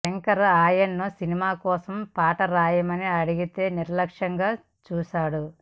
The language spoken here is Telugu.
శంకర్ ఆయన్ను సినిమా కోసం పాట రాయమని అడిగితే నిర్లక్ష్యంగా చూశాడు